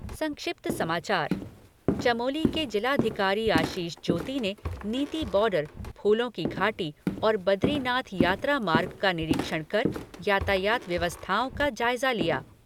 संक्षिप्त समाचार चमोली के जिलाधिकारी आशीष जोशी ने नीति बॉर्डर, फूलों की घाटी और बदरीनाथ यात्रा मार्ग का निरीक्षण कर यातायात व्यवस्थाओं का जायज़ा लिया।